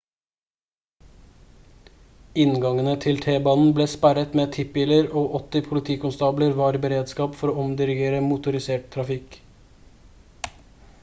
inngangene til t-banen ble sperret med tippbiler og 80 politikonstabler var i beredskap for å omdirigere motorisert trafikk